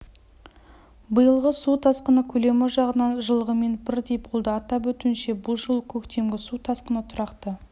биылғы су тасқыны көлемі жағынан жылғымен бірдей болды атап өтуінше бұл жолы көктемгі су тасқыны тұрақты